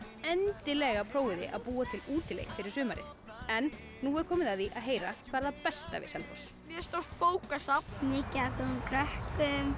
endilega prófið þið að búa til útileik fyrir sumarið nú er komið að því að heyra hvað er það besta við Selfoss mjög stórt bókasafn mikið af góðum krökkum